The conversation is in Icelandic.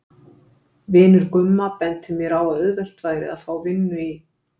Vinur Gumma benti mér á að auðvelt væri að fá vinnu í